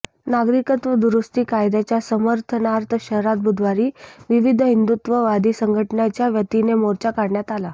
नागरिकत्व दुरुस्ती कायद्याच्या समर्थनार्थ शहरात बुधवारी विविध हिंदुत्ववादी संघटनांच्यावतीने मोर्चा काढण्यात आला